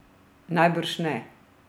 Najbrž ne!